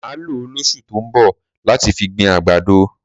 Mà lọ lọ lọ̀sú tọ mbọ, làtí fi gbín àgbàdò